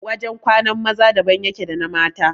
Wajan kwanan maza daban yake da na mata